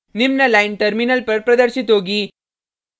निम्न line terminal पर प्रदर्शित होगी